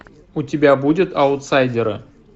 у тебя будет аутсайдеры